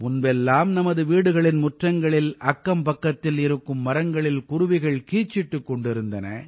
முன்பெல்லாம் நமது வீடுகளின் முற்றங்களில் அக்கம்பக்கத்தில் இருக்கும் மரங்களில் குருவிகள் கீச்சிட்டுக் கொண்டிருந்தன